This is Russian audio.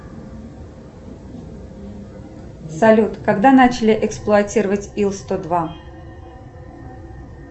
салют когда начали эксплуатировать ил сто два